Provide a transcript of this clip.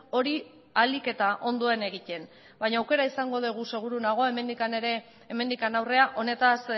hori ahalik eta ondoen egiten baina aukera izango dugu seguru nago hemendik aurrera honetaz